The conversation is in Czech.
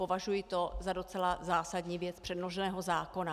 Považuji to za docela zásadní věc předloženého zákona.